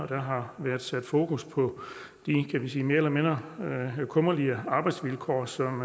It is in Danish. der har været sat fokus på de mere eller mindre kummerlige arbejdsvilkår som